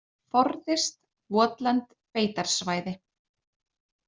Forðist votlend beitarsvæði.